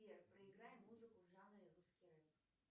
сбер проиграй музыку в жанре русский рэп